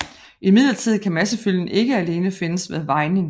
Imidlertid kan massefylden ikke alene findes ved vejning